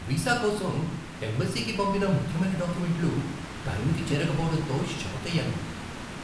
Visa కోసం ఎంబసీకి పంపిన ముఖ్యమైన డాక్యుమెంట్లు టైంకి చేరకపోవడంతో షాకయ్యాను.